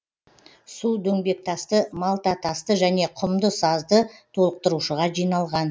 су дөңбектасты малтатасты және құмды сазды толықтырушыға жиналған